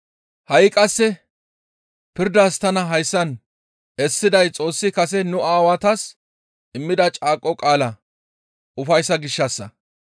Ha7i qasse pirdas tana hayssan essiday Xoossi kase nu aawatas immida caaqo qaalaa ufayssa gishshassa.